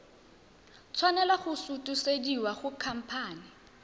tshwanela go sutisediwa go khamphane